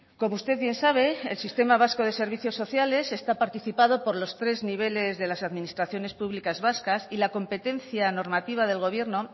como usted bien sabe el sistema vasco de servicios sociales está participado por los tres niveles de las administraciones públicas vascas y la competencia normativa del gobierno